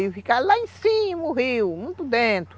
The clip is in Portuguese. Ia ficar lá em cima o rio, muito dentro.